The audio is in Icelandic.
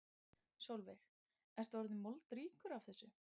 Sólveig: Ertu orðinn moldríkur af þessu?